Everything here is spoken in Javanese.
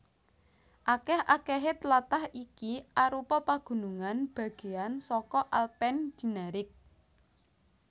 Akèh akèhé tlatah iki arupa pagunungan bagéan saka Alpen Dinaric